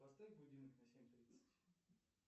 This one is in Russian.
поставь будильник на семь тридцать